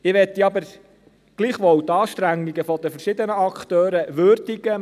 Ich möchte aber gleichwohl die Anstrengungen der verschiedenen Akteure würdigen.